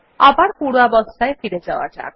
আবার পূর্বাবস্থায় ফিরে যাওয়া যাক